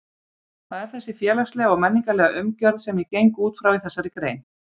Það er þessi félagslega og menningarlega umgjörð sem ég geng út frá í þessari grein.